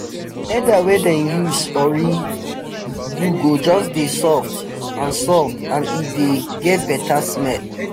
leather wey dem use ori do go just dey soft and soft and e dey get beta smell